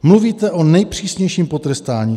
- Mluvíte o nejpřísnějším potrestání.